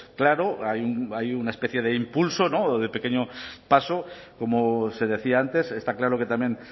claro hay una especie de impulso de pequeño paso como se decía antes está claro que también